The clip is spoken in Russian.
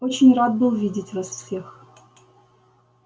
очень рад был видеть вас всех